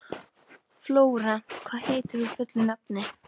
Flórent, hvað heitir þú fullu nafni?